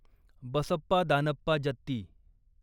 Basappa Danappa Jatti